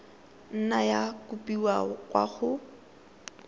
nna ya kopiwa kwa go